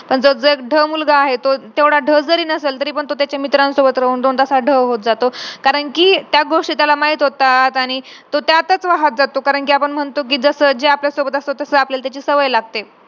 आत्ताच बघा आता तर दहावीचे result राहते त्याच्यानंतर किती जण आत्महत्या करतात पोरं.